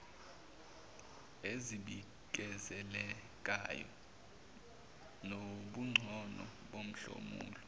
ezibikezelekayo nobungcono bomhlomulo